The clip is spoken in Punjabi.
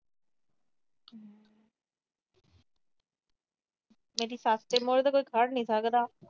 ਮੇਰੀ ਸੱਸ ਦੇ ਮੁਹਰੇ ਤਾਂ ਕੋਈ ਖੜ੍ਹ ਨਹੀਂ ਸਕਦਾ।